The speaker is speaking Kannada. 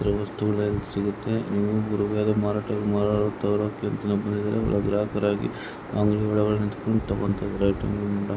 ಇತರೆ ವಸ್ತುಗಳು ಎಲ್ಲ ಸಿಗುತ್ತೆ ಮಾರಾಟಕ್ಕೆ ಅಂತಾನೆ ಬಂದಿದರೆ ಹೊಳಗೆ ಗ್ರಹಕರಗಿ ಅಂಗಡಿ ಹೊಳಗಡೆ ನಿಂತುಕೊಂಡು ತಗೊಂತಾಯಿದರೆ.